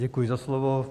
Děkuji za slovo.